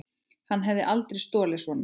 Hann hefði aldrei stolið svona.